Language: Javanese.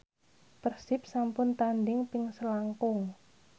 Persib sampun tandhing ping selangkung